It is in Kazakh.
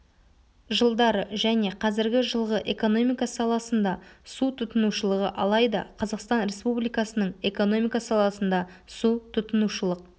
жылдары және қазіргі жылғы экономика саласында су тұтынушылығы алайда қазақстан республикасының экономика саласында су тұтынушылық